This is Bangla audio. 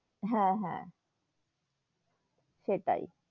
হেঁ, হেঁ সেটাই,